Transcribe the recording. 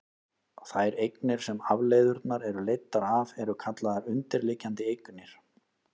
þær eignir sem afleiðurnar eru leiddar af eru kallaðar undirliggjandi eignir